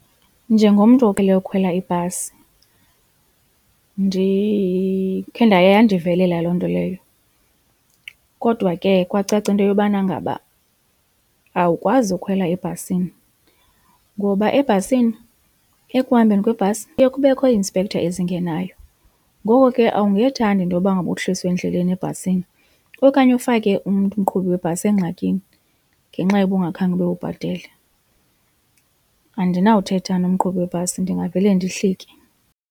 Njengomntu oqhele ukhwela ibhasi ndikhe yandivelela loo nto leyo kodwa ke kwacaca into yobana ngaba awukwazi ukhwela ebhasini ngoba ebhasini ekuhambeni kwebhasi kuye kubekho i-inspector ezingenayo ngoko ke awungethandi intoba ngaba uhliswe endleleni ebhasini. Okanye ufake umntu umqhubi webhasi engxakini ngenxa yoba ungakhange ube ubhatele. Andinawuthetha nomqhubi webhasi ndingavele ndihlike.